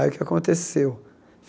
Aí o que aconteceu?